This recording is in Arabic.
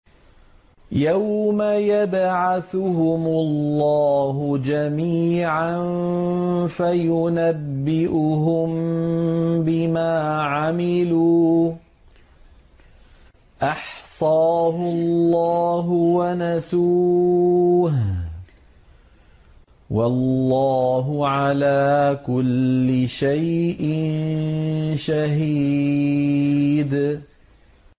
يَوْمَ يَبْعَثُهُمُ اللَّهُ جَمِيعًا فَيُنَبِّئُهُم بِمَا عَمِلُوا ۚ أَحْصَاهُ اللَّهُ وَنَسُوهُ ۚ وَاللَّهُ عَلَىٰ كُلِّ شَيْءٍ شَهِيدٌ